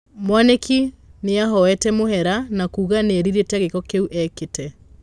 Mwanĩkũnĩahoete mũhera na kuuga nĩerirĩte gĩĩko kĩu ekĩte.